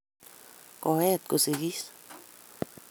koet kosigis.